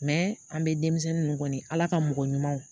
an bɛ denmisɛnnin ninnu kɔni ala ka mɔgɔ ɲumanw